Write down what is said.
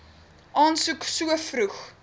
aansoek so vroeg